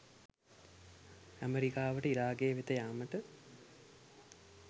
ඇමරිකාවට ඉරාකය වෙත යාමට